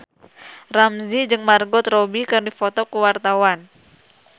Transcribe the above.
Ramzy jeung Margot Robbie keur dipoto ku wartawan